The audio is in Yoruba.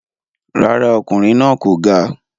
Rárá, ọkùnrin náà kò ga.